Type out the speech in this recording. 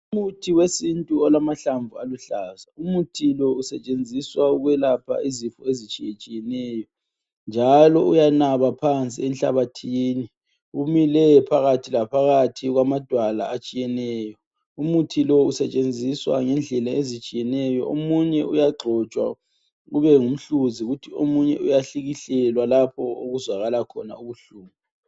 Umuthi wesintu olamahlamvu aluhlaza, umuthi lo usetshenziswa ukwelapha izifo ezitshiyetshiyeneyo njalo uyanaba phansi enhlabathini. Umile phakathi laphakathi kwamadwala atshiyeneyo, umuthi lo usetshenziswa ngendlela ezitshiyeneyo omunye uyagxotshwa kube ngumhluzi kuthi omunye uyahlikihlelwa lapho okuzwakala khona ubuhlungu.